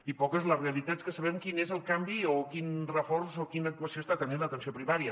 i poques les realitats que sabem quin és el canvi o quin reforç o quina actuació està tenint l’atenció primària